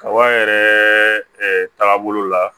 Kaba yɛrɛ taagabolo la